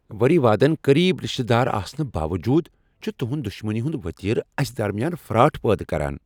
ؤری وادن قریب رِشتہٕ آسنہٕ باووٚجوٗد چھٖ تہنٛد دشمنی ہنٛد وتیرٕ اَسہِ درمیان فراٹ پٲدٕ کران۔